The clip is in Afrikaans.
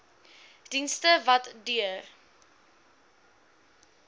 dienste wat deur